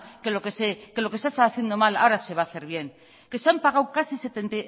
que lo que se ha estado haciendo mal ahora se va a hacer bien que se han pagado casi